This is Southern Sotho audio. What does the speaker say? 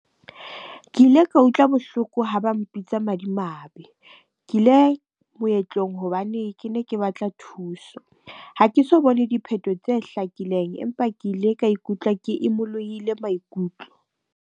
Ke ile ka utlwa bohloko ha ba mpitsa madimabe. Ke ile moetlong hobane ke ne ke batla thuso. Ha ke so bone diphethoho tse hlakileng, empa ke ile ka ikutlwa ke imolohile maikutlo.